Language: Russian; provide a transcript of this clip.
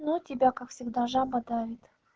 ну тебя как всегда жаба давит